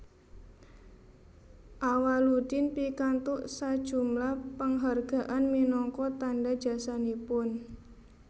Awaloedin pikantuk sajumlah penghargaan minangka tanda jasanipun